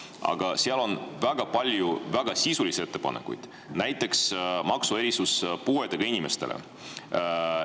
Aga seal on väga palju väga sisulisi ettepanekuid, näiteks maksuerisus puuetega inimestele.